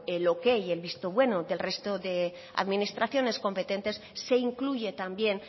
el ok el visto bueno del resto de administraciones competentes se incluye también